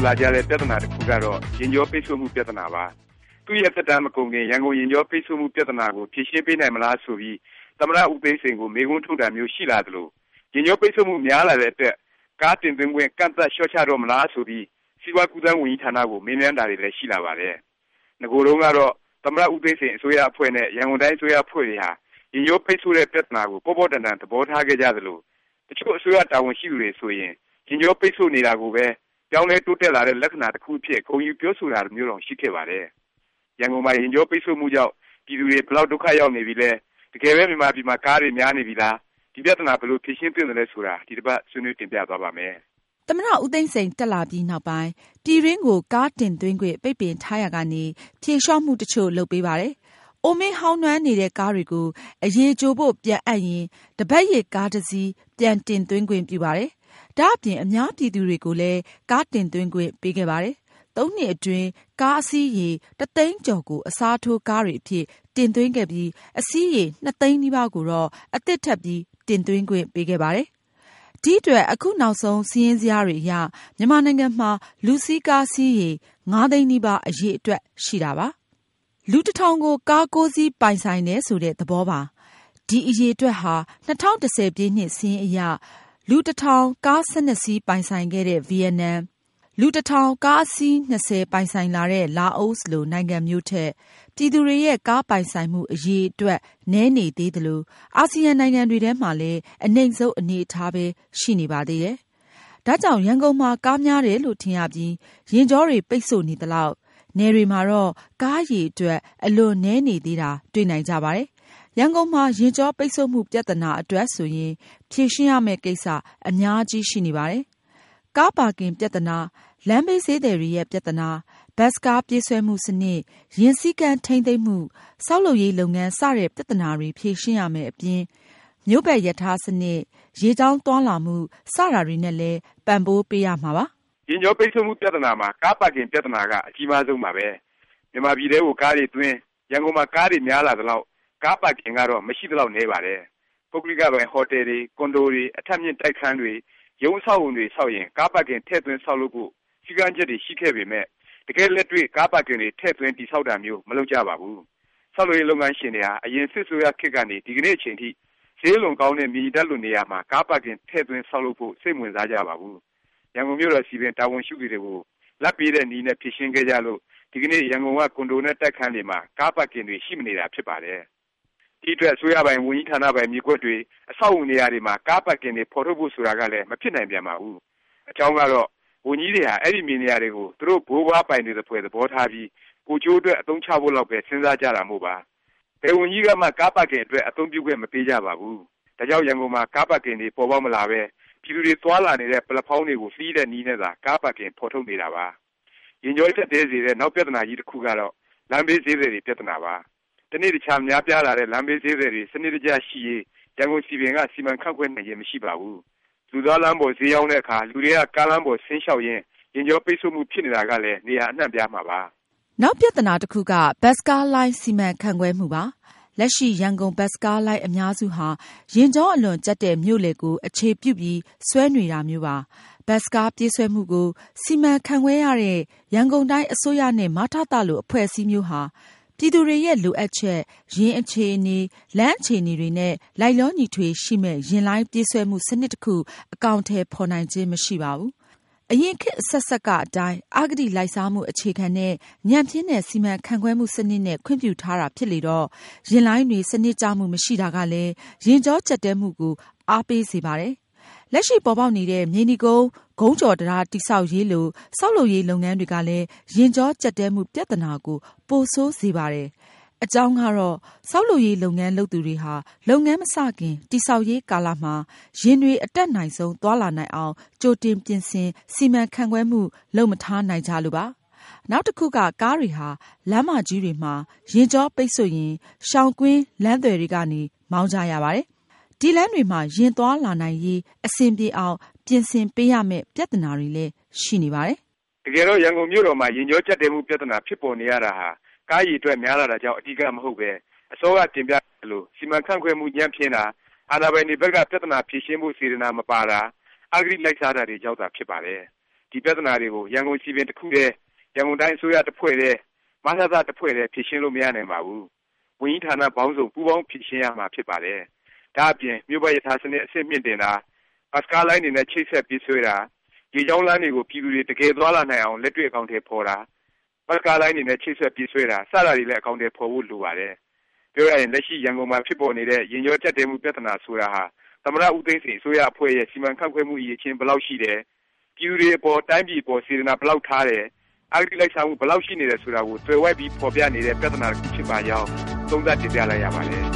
လာကြတဲ့ပြဿနာ တစ်ခုကတော့ ယာဉ်ကြောပိတ်ဆို့မှု ပြဿနာပါ။ သူ့ရဲ့ သက်တန်း မကုန်ခင် ရန်ကုန်ယာဉ်ကြောပိတ်ဆို့မှု ပြဿနာကို ဖြေရှင်းပေးနိုင်မလား ဆိုပြီး သမ္မတ ဦးသိန်းစိန်ကို မေးခွန်းထုတ်တာမျိုး ရှိလာသလို ယာဉ်ကြောပိတ်ဆို့မှု များလာတဲ့အတွက် ကားတင်သွင်းခွင့် ကန့်သတ်လျော့ချတော့မလား ဆိုပြီး စီးပွား-ကူးသန်း ဝန်ကြီးဌာနကို မေးမြန်းတာတွေလည်း ရှိလာပါတယ်။ နဂိုတုန်းကတော့ သမ္မတဦးသိန်းစိန် အစိုးရအဖွဲ့နဲ့ ရန်ကုန်တိုင်း အစိုးရအဖွဲ့တွေဟာ ယာဉ်ကြောပိတ်ဆို့တဲ့ ပြသနာကို ပေါ့ပေါ့တန်တန် သဘောထားခဲ့ကြသလို တစ်ချို့ အစိုးရတာဝန်ရှိသူတွေဆိုရင် ယာဉ်ကြောပိတ်ဆို့နေတာကိုပဲ ပြောင်းလဲတိုးတက်လာတဲ့ လက္ခဏာ တစ်ခုအဖြစ် ဂုဏ်ယူပြောဆိုတာမျိုးတောင် ရှိခဲ့ပါတယ်။ ရန်ကုန်မှာ ယာဉ်ကြောပိတ်ဆို့မှုကြောင့် ပြည်သူတွေ ဘယ်လောက် ဒုက္ခရောက်နေပြီလဲ၊ တကယ်ပဲ မြန်မာပြည်မှာ ကားတွေ များနေပြီလား၊ ဒီ ပြသနာ ဘယ်လို ဖြေရှင်းသင့်သလဲ ဆိုတာ ဒီတစ်ပါတ် ဆွေးနွေးတင်ပြသွားပါ့မယ်။ သမ္မတ ဦးသိန်းစိန် တက်လာပြီးနောက်ပိုင်း ပြည်တွင်းကို ကားတင်သွင်းခွင့် ပိတ်ပင်ထားရာကနေ ဖြေလျော့မှု တစ်ချို့ လုပ်ပေးပါတယ်။ အိုမင်းဟောင်းနွမ်းနေတဲ့ ကားတွေကို အရည်ကြိုဖို့ ပြန်အပ်ရင် တပတ်ရစ် ကားတစ်စီး ပြန် တင်သွင်းခွင့်ပြုပါတယ်။ ဒါ့အပြင် အများပြည်သူတွေကိုလည်း ကားတင်သွင်းခွင့်ပေးခဲ့ပါတယ်။ ၃ နှစ်အတွင်း ကားအစီးရေ တစ်သိန်းကျော်ကို အစားထိုးကားတွေအဖြစ် တင်သွင်းခဲ့ပြီး အစီးရေ ၂ သိန်းနီးပါးကိုတော့ အသစ်ထပ်ပြီး တင်သွင်းခွင့်ပေးခဲ့ပါတယ်။ ဒီအတွက် အခုနောက်ဆုံး စာရင်းဇယားတွေအရ မြန်မာနိုင်ငံမှာ လူစီးကား စီးရေ ၅ သိန်းနီးပါး အရည်အတွက်ရှိပါတယ်။ လူတထောင်ကို ကား (၉) စီး ပိုင်ဆိုင်တယ် ဆိုတဲ့ သဘောပါ။ ဒီအရည်အတွက်ဟာ ၂၀၁၀ စာရင်းအရ လူ ၁၀၀၀ ကား ၁၂ စီးပိုင်ဆိုင်ခဲ့တဲ့ ဗီယက်နမ်၊ လူ ၁၀၀၀ ကားအစီး ၂၀ ပိုင်ဆိုင်တဲ့ လာအိုလို နိုင်ငံမျိုးထက် ပြည်သူတွေရဲ့ ကားပိုင်ဆိုင်မှု အရည်အတွက် နည်းနေသေးသလို အာဆီယံ နိုင်ငံတွေထဲမှာလည်း အနိမ့်ဆုံး အနေအထားပဲ ရှိနေပါသေးတယ်။ ဒါကြောင့် ရန်ကုန်မှာ ကားများတယ်လို့ ထင်ရပြီး ယာဉ်ကြောတွေ ပိတ်ဆို့နေသလောက် နယ်တွေမှာတော့ ကားအရည်အတွက် အလွန်နည်းနေသေးတာ တွေ့နိုင်ကြပါတယ်။ ရန်ကုန်မှာ ယာဉ်ကြောပိတ်ဆို့မှုပြသနာ အတွက်ဆိုရင် ဖြေရှင်းရမယ့် ကိစ္စ အများကြီး ရှိနေပါတယ်။ ကားပါကင် ပြသနာ၊ လမ်းဘေးဈေးသည်တွေရဲ့ ပြသနာ၊ ဘတ်စ်ကား ပြေးဆွဲမှု စနစ်၊ ယာဉ်စည်းကမ်း ထိမ်းသိမ်းမှု၊ ဆောက်လုပ်ရေး လုပ်ငန်း စတဲ့ ပြသနာတွေ ဖြေရှင်းရမယ့်အပြင် မြို့ပါတ်ရထား စနစ်၊ ရေကြောင်းသွားလာမှု စတာတွေနဲ့လည်း ပံ့ပိုးပေးရမှာဖြစ်ပါတယ်။ ယာဉ်ကြောပိတ်ဆို့မှုပြသနာမှာ ကားပါကင် ပြသနာက အကြီးမားဆုံးပါပဲ။ မြန်မာပြည်ထဲကို ကားတွေသွင်း၊ ရန်ကုန်မှာ ကားတွေ များလာသလောက် ကားပါကင်ကတော့ မရှိသလောက်နည်းပါတယ်။ ပုဂ္ဂလိကပိုင် ဟော်တယ်တွေ၊ ကွန်ဒိုတွေ၊ အထပ်မြင့်တိုက်ခန်းတွေ၊ ရုံးအဆောက်အဦးတွေဆောက်ရင် ကားပါကင် ထည့်သွင်းဆောက်လုပ်ဖို့ စည်းကမ်းချက်တွေ ရှိခဲ့ပေမယ့် တကယ့်လက်တွေ့ ကားပါကင်တွေ ထည့်သွင်းတည်ဆောက်တာမျိုး မလုပ်ကြပါဘူး။ ဆောက်လုပ်ရေး လုပ်ငန်းရှင်တွေဟာ အရင် စစ်အစိုးရခေတ်ကနေ ဒီကနေ့ အချိန်ထိ ဈေးအလွန်ကောင်းတဲ့ မြေညီထပ်လို နေရာမှာ ကားပါကင် ထည့်သွင်းဆောက်လုပ်ဖို့ စိတ်မဝင်စားကြပါဘူး။ ရန်ကုန်မြို့တော် စည်ပင် တာဝန်ရှိသူတွေကို လာဘ်ပေးတဲ့ နည်းနဲ့ ဖြေရှင်းခဲ့ကြလို့ ဒီကနေ့ ရန်ကုန်က ကွန်ဒိုနဲ့ တိုက်ခန်းတွေမှာ ကားပါကင်တွေ ရှိမနေတာ ဖြစ်ပါတယ်။ ဒီ့အတွက် အစိုးရပိုင်၊ ဝန်ကြီးဌာနပိုင် မြေကွက်တွေ၊ အဆောက်အဦးနေရာတွေမှာ ကားပါကင်တွေ ဖော်ထုတ်ဖို့ ဆိုတာကလည်း မဖြစ်နိုင်ပြန်ပါဘူး။ အကြောင်းကတော့ ဝန်ကြီးတွေဟာ အဲဒီ မြေနေရာတွေကို သူတို့ ဘိုးဘွားပိုင်တွေ သဖွယ် သဘောထားပြီး ကိုယ်ကျိုးအတွက် အသုံးချဖို့လောက်ပဲ စဉ်းစားကြတာမို့ပါ။ ဘယ်ဝန်ကြီးကမှ ကားပါကင်အတွက် အသုံးပြုခွင့် မပေးကြပါဘူး။ ဒါကြောင့် ရန်ကုန်မှာ ကားပါကင်တွေ ပေါ်ပေါက်မလာပဲ ပြည်သူတွေ သွားလာနေတဲ့ ပလက်ဖေါင်းတွေကို လှီးတဲ့ နည်းနဲ့သာ ကားပါကင်ဖော်ထုတ်နေတာပါ။ ယာဉ်ကြော ကြပ်တည်းစေတဲ့ နောက် ပြသနာကြီးတစ်ခုက လမ်းဘေးဈေးသည်တွေ ပြသနာပါ။ တစ်နေ့တစ်ခြား များပြားလာတဲ့ လမ်းဘေးဈေးသည်တွေ စနစ်တကျ ရှိရေး ရန်ကုန်စည်ပင်က စီမံခန့်ခွဲနိုင်ခြင်း မရှိပါဘူး။ လူသွားလမ်းတွေပေါ် ဈေးရောင်းတဲ့အခါ လူတွေက ကားလမ်းပေါ်ဆင်းလျှောက်ရင်း ယာဉ်ကြောပိတ်ဆို့မှု ဖြစ်နေတာကလည်း နေရာ အနှံ့အပြားမှာပါ။ နောက်ပြသနာ တစ်ခုက ဘတ်စ်ကားလိုင်း စီမံခန့်ခွဲမှုပါ။ လက်ရှိ ရန်ကုန်ဘတ်စ်ကားလိုင်း အများစုဟာ ယာဉ်ကြောအလွန်ကြပ်တဲ့ မြို့လည် ကို အခြေပြုပြီး ဆွဲနေတာမျိုးပါ။ ဘတ်စ်ကား ပြေးဆွဲမှုကို စီမံခန့်ခွဲရတဲ့ ရန်ကုန်တိုင်း အစိုးရနဲ့ မထသ လို အဖွဲ့အစည်းမျိုးဟာ ပြည်သူတွေရဲ့ လိုအပ်ချက်၊ ယာဉ်အခြေအနေ၊ လမ်းအခြေအနေ တွေနဲ့ လိုက်လျောညီထွေ ရှိမယ့် ယာဉ်လိုင်း ပြေးဆွဲမှု စနစ်တစ်ခု အကောင်အထည် ဖော်နိုင်ခြင်း မရှိပါဘူး။ အရင်ခေတ်အဆက်ဆက်က အတိုင်း အဂတိလိုက်စားမှု အခြေခံတဲ့၊ ညံ့ဖျင်းတဲ့ စီမံခန့်ခွဲမှုစနစ်နဲ့ ခွင့်ပြုထားတာ ဖြစ်လေတော့ ယာဉ်လိုင်းတွေ စနစ်ကျနမှု မရှိတာကလည်း ယာဉ်ကြောကြပ်တည်းမှုကို အားပေးစေပါတယ်။ လက်ရှိ ပေါ်ပေါက်နေတဲ့ မြေနီကုန်း ခုံးကျော်တံတား တည်ဆောက်ရေး လို ဆောက်လုပ်ရေး လုပ်ငန်းတွေကလည်း ယာဉ်ကြောကြပ်တည်းမှု ပြသနာကို ပို ဆိုးစေပါတယ်။ အကြောင်းကတော့ ဆောက်လုပ်ရေး လုပ်ငန်း လုပ်သူတွေဟာ လုပ်ငန်း မစခင် တည်ဆောက်ရေးကာလမှာ ယာဉ်တွေ အတတ်နိုင်ဆုံး သွားလာနိုင်အောင် ကြိုတင်ပြင်ဆင် စီမံခန့်ခွဲမှု လုပ်မထားနိုင်ကြလို့ပါပဲ။ နောက်တစ်ခုက ကားတွေဟာ လမ်းမကြီးတွေမှာ ယာဉ်ကြောပိတ်ဆို့ရင် ရှောင်ကွင်းလမ်းသွယ်တွေကနေ မောင်းကြရပါတယ်။ အဲဒီလမ်းတွေမှာ ယာဉ်သွားလာနိုင်ရေး အဆင်ပြေအောင် ပြင်ဆင်ပေးရမယ့် ပြသနာတွေလည်း ရှိနေပါတယ်။ တကယ်တော့ ရန်ကုန်မြို့တော်မှာ ယာဉ်ကြောကြပ်တည်းမှု ပြသနာ ဖြစ်ပေါ်နေရတာဟာ ကားအရည်အတွက် များလာတာကြောင့် အဓိက မဟုတ်ပဲ၊ အစောက တင်ပြခဲ့သလို စီမံခန့်ခွဲမှု ညံ့ဖျင်းတာ၊ အာဏာပိုင်တွေဘက်က ပြသနာ ဖြေရှင်းဖို့ စေတနာ မပါတာ၊ အဂတိ လိုက်စားတာတွေကြောင့်သာ ဖြစ်ပါတယ်။ ဒီ ပြသနာတွေကို ရန်ကုန်စည်ပင် တစ်ခုတည်း၊ ရန်ကုန်တိုင်း အစိုးရတစ်ဖွဲ့တည်း၊ မထသ တစ်ဖွဲ့တည်း ဖြေရှင်းလို့ မရနိုင်ပါဘူး။ ဝန်ကြီးဌာန ပေါင်းစုံ ပူးပေါင်းဖြေရှင်းရမှာ ဖြစ်ပါတယ်။ ဒါ့အပြင် မြို့ပါတ်ရထား စနစ် အဆင့်မြှင့်တင်တာ၊ ဘတ်စ်ကားလိုင်းတွေနဲ့ ချိတ်ဆက်ပြေးဆွဲတာ၊ ရေကြောင်းလမ်းတွေကို ပြည်သူတွေ တကယ် သွားလာနိုင်အောင် လက်တွေ့ အကောင်အထည်ဖော်တာ၊ ဘတ်စ်ကားလိုင်းတွေနဲ့ ချိတ်ဆက် ပြေးဆွဲတာ စတာတွေလည်း အကောင်အထည် ဖော်ဖို့ လိုပါတယ်။ ပြောရရင် လက်ရှိ ရန်ကုန်မှာ ဖြစ်ပေါ်နေတဲ့ ယာဉ်ကြောကြပ်တည်းမှု ပြသနာ ဆိုတာဟာ သမ္မတ ဦးသိန်းစိန် အစိုးရအဖွဲ့ရဲ့ စီမံခန့်ခွဲမှု အရည်အချင်း ဘယ်လောက်ရှိတယ်၊ ပြည်သူတွေအပေါ် တိုင်းပြည်အပေါ် စေတနာ ဘယ်လောက်ထားတယ်၊ အဂတိ လိုက်စားမှု ဘယ်လောက် ရှိနေတယ် ဆိုတာကို သွယ်ဝိုက်ပြီး ဖော်ပြနေတဲ့ ပြသနာ တစ်ခု ဖြစ်ပါကြောင်း သုံးသပ်တင်ပြလိုက်ရပါတယ်